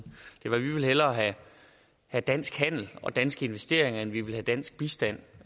var vi vil hellere have have dansk handel og danske investeringer end vi vil have dansk bistand